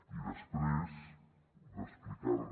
i després d’explicar li